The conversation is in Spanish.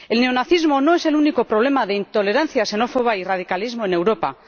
El neonazismo no es el único problema de intolerancia xenófoba y radicalismo en Europa.